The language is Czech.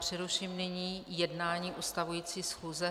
Přeruším nyní jednání ustavující schůze.